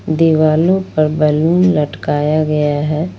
दीवालों पर बैलून लटकाया गया है।